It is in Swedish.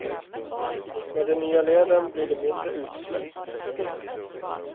Med den nya leden blir det mindre utsläpp.